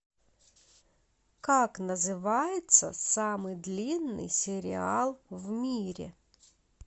как называется самый длинный сериал в мире